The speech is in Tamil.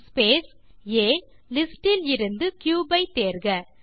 ஸ்பேஸ் ஆ லிஸ்டிலிருந்து கியூப் ஐ தேர்க